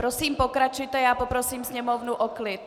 Prosím pokračujte a poprosím sněmovnu o klid.